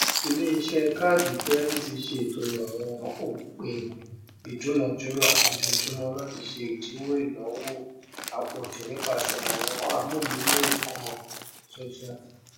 ìléiṣẹ káàdì kirẹdìtì ṣètò àwọn òpin ìdúnàjùrà lójoojúmọ láti ṣe ìdíwọ ináwó àpòjù nípasẹ àwọn amúlùmọọkàn tuntun